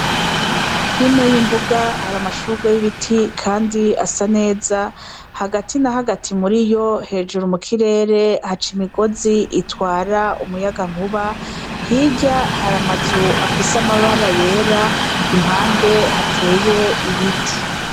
Hino y’imbuga hari amashugwe y’ibiti kandi asa neza hagati na hagati muriyo hejuru mu kirere haca imigozi itwara umuyaga nkuba hirya hari amazu afise amabara yera impande hateye ibiti.